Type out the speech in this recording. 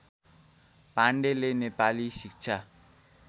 पाण्डेले नेपाली शिक्षा